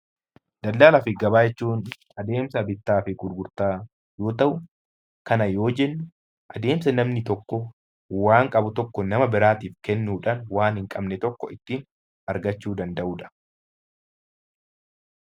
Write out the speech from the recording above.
Daldalaa fi gabaa jechuun adeemsa bittaa fi gurgurtaa yoo ta'u, kana yoo jennu adeemsa namni tokko waan qabu tokko nama biraatiif kennuudhaan waan hin qabne tokko ittiin argachuu danda'u dha.